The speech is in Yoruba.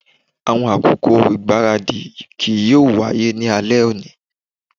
Awọn akoko igbaradi kii yoo waye ni alẹ oni